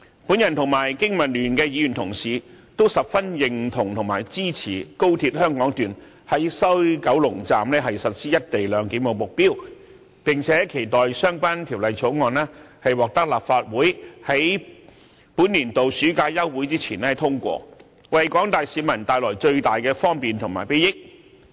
我和經民聯的議員同事都十分認同和支持高鐵香港段在西九龍站實施"一地兩檢"的目標，並且期待相關條例草案在本年度暑假休會前獲立法會通過，為廣大市民帶來最大的方便和裨益。